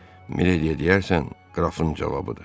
"Milediyə deyərsən, qrafın cavabıdır."